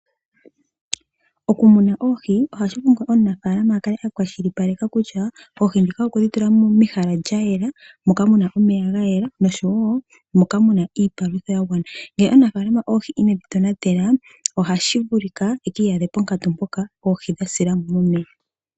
Okumuna oohi, ohashi vulika omunafaalama akale akwashilipaleka kutya oohi ndhika okwedhi tula mehala lyayela, moka muna omeya gayela, noshowo moka muna iipalutha yagwana. Ngele omunafaalama oohi inedhi tonatela, ohashi vulika e kiiyadhe ponkatu mpoka oohi dhasila mo momeya.